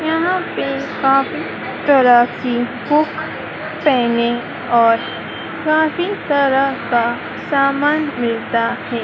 यहाँ पे काफी तरह की बुक पेनें और काफी तरह का सामान मिलता है।